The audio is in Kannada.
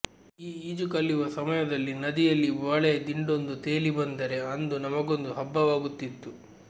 ಈ ಈಜು ಕಲಿಯುವ ಸಮಯದಲ್ಲಿ ನದಿಯಲ್ಲಿ ಬಾಳೆಯ ದಿಂಡೊಂದು ತೇಲಿ ಬಂದರೆ ಅಂದು ನಮಗೊಂದು ಹಬ್ಬವಾಗುತ್ತಿತ್ತು